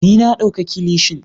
Ni na dauka kilishin.